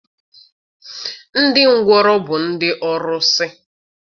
Ndị ngwọrọ bụ ndị ọrụsị.